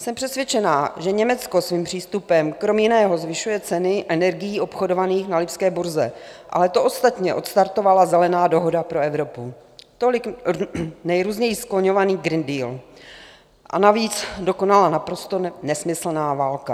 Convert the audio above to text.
Jsem přesvědčená, že Německo svým přístupem kromě jiného zvyšuje ceny energií obchodovaných na lipské burze, ale to ostatní odstartovala Zelená dohoda pro Evropu, tolik nejrůzněji skloňovaný Green Deal, a navíc dokonala naprosto nesmyslná válka.